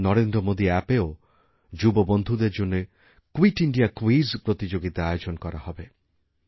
নরেন্দ্র মোদী অ্যাপএও যুব বন্ধুদেরজন্য কুইট ইন্দিয়া কুইজ প্রতিযোগিতা আয়োজন করাহবে